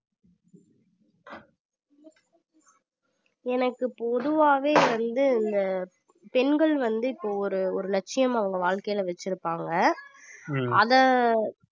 எனக்கு பொதுவாவே வந்து இந்த பெண்கள் வந்து இப்போ ஒரு ஒரு லட்சியம் அவங்க வாழ்க்கையிலே வச்சிருப்பாங்க அதை